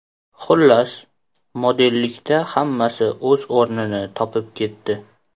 Xullas, modellikda hammasi o‘z o‘rnini topib ketdi.